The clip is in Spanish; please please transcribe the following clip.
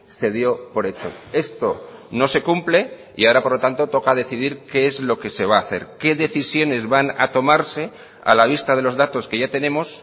se dio por hecho esto no se cumple y ahora por lo tanto toca decidir qué es lo que se va a hacer qué decisiones van a tomarse a la vista de los datos que ya tenemos